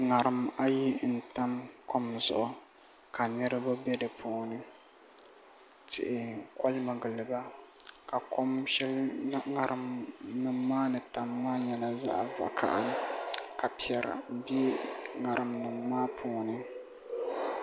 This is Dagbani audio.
ŋarim ayi n tam kom zuɣu ka niraba bɛ di puuni tihi ko mi giliba ka ko shɛli ŋarim nim maa ni tamya maa nyɛ zaɣ vakaɣali ka piɛri bɛ ŋarim nim maa puuni